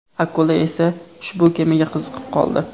Akula esa ushbu kemaga qiziqib qoldi.